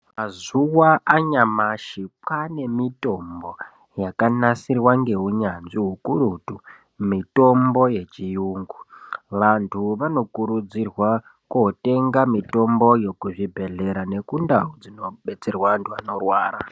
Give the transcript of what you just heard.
Mazuva anyamashi kwane mitombo yakanasirwa ngehunyatsvi kakurutu mitombo yechirungu vantu vanokurudzirwa kundotenga mitomboyo kuzvibhedhlera nekundau dzinodetserwa vanorwara.